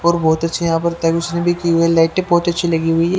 और बहुत अच्छे यहां पर उसने भी की लाइट बहुत अच्छी लगी हुई है।